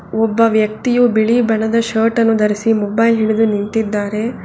ಒಬ್ಬ ವ್ಯಕ್ತಿಯು ಬಿಳಿ ಬಣ್ಣದ ಶರ್ಟ್ ಅನು ಧರಿಸಿ ಮೊಬೈಲ್ ಹಿಡಿದು ನಿಂತಿದ್ದಾನೆ.